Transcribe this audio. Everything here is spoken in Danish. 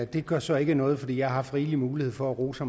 det gør så ikke noget for jeg har haft rigelig mulighed for at rose